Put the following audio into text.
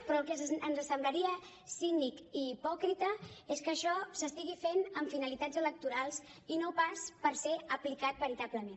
però el que ens assemblaria cínic i hipòcrita és que això s’estigui fent amb finalitats electorals i no pas per ser aplicat veritablement